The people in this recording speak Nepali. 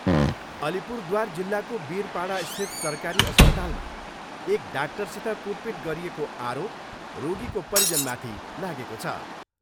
अलिपुरद्वार जिल्लाको बिरपाडास्थित सरकारी अस्पतालमा एक डाक्टरसित कुटपिट गरिएको आरोप रोगीको परिजनमाथि लागेको छ।